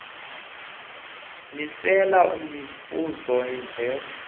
miselo mivuzo yamva